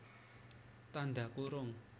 Tandha kurung